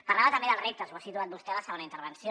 parlava també dels reptes ho ha situat vostè a la segona intervenció